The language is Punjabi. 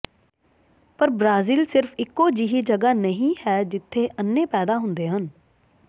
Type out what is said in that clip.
ਪਰ ਬ੍ਰਾਜ਼ੀਲ ਸਿਰਫ ਇਕੋ ਜਿਹੀ ਜਗ੍ਹਾ ਨਹੀਂ ਹੈ ਜਿੱਥੇ ਅੰਨ੍ਹੇ ਪੈਦਾ ਹੁੰਦੇ ਹਨ